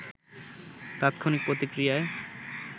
তাৎক্ষণিক প্রতিক্রিয়ায়